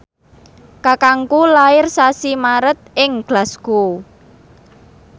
kakangku lair sasi Maret ing Glasgow